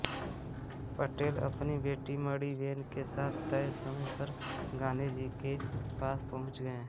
पटेल अपनी बेटी मणिबेन के साथ तय समय पर गांन्धी जी के पास पहुँच गए